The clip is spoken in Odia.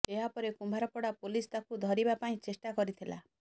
ଏହାପରେ କୁମ୍ଭାରପଡ଼ା ପୁଲିସ ତାକୁ ଧରିବା ପାଇଁ ଚେଷ୍ଟା କରିଥିଲା